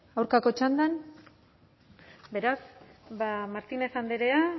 aurkako txandan beraz ba martínez andrea